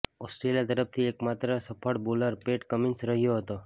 Australia તરફથી એકમાત્ર સફળ બોલર પેટ કમિન્સ રહ્યો હતો